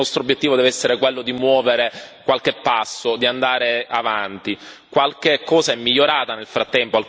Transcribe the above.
Il problema è complesso e il nostro obiettivo deve essere quello di muovere qualche passo, di andare avanti.